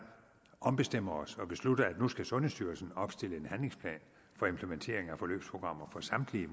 ombestemmer os og beslutter at nu skal sundhedsstyrelsen opstille en handlingsplan for implementering af forløbsprogrammer for samtlige